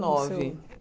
Nove